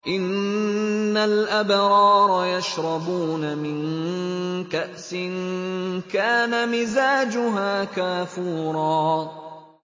إِنَّ الْأَبْرَارَ يَشْرَبُونَ مِن كَأْسٍ كَانَ مِزَاجُهَا كَافُورًا